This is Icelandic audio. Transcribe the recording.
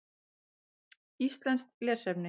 Íslenskt lesefni: